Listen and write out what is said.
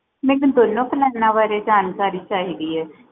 ਮੈਨੂੰ ਦੋਨੋ ਪਲਾਨ ਵਾਰੇ ਜਾਣਕਾਰੀ ਛਾਹੀਦੀ ਏ